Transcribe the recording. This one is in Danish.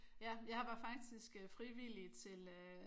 Ja jeg var faktisk frivillig til øh